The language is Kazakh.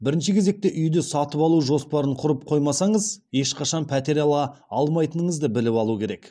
бірінші кезекте үйді сатып алу жоспарын құрып қоймасаңыз ешқашан пәтер ала алмайтыныңызды біліп алу керек